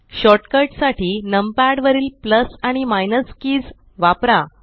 short cut साठी numpad वरील plus आणि माइनस किज वापरा